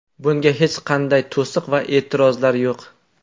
Bunga hech qanday to‘siq va e’tirozlar yo‘q.